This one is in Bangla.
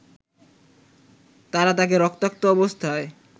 তারা তাকে রক্তাক্ত অবস্থায়